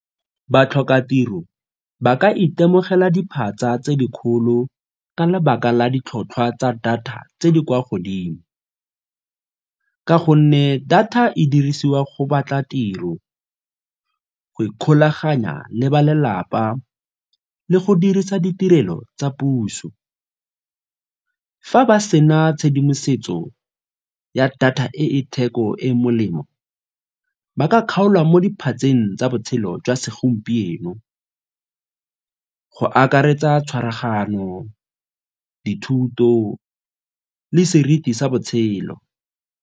Batlhokatiro ba ka itemogela diphatsa tse di kgolo ka lebaka la ditlhotlhwa tsa data tse di kwa godimo ka gonne data e dirisiwa go batla tiro, go ikgolaganya le balelapa le go dirisa ditirelo tsa puso. Fa ba sena tshedimosetso ya data e e theko e molemo ba ka kgaolwa mo diphatseng tsa botshelo jwa segompieno, go akaretsa tshwaraganyo, dithuto le seriti sa botshelo.